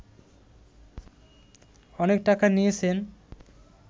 অনেক টাকা নিয়েছেন